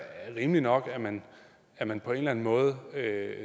rimeligt nok at man at man på en eller anden måde